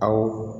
Awɔ